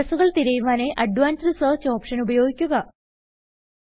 അഡ്രസ്സുകൾ തിരയുവാനായി advanced search option ഉപയോഗിക്കുക